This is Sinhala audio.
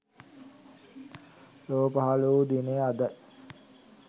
ලොව පහළ වූ දිනය අදයි.